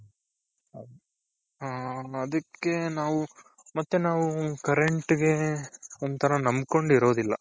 ಹ ಅದಕ್ಕೆ ನಾವು ಮತ್ತೆ ನಾವು current ಗೆ ಒಂಥರಾ ನಂಬ್ಕೊಂಡ್ ಇರೋದಿಲ್ಲ.